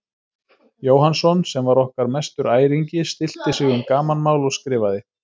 Jóhannsson, sem var okkar mestur æringi, stillti sig um gamanmál og skrifaði